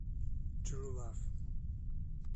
тру лав